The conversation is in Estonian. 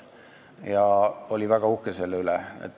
Ja ta oli väga uhke selle üle.